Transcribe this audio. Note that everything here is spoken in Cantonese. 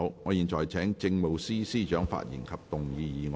我現在請政務司司長發言及動議議案。